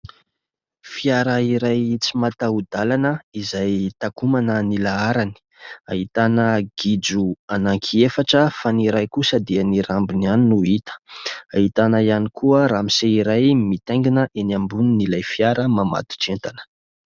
Fiara iray tsy mataho-dalana, izay takomana ny laharany. Ahitana gidro anankiefatra fa ny iray kosa dia ny rambony ihany no hita. Ahitana ihany koa ramose iray mitaingina eny ambonin'ilay fiara, mamatotra entana.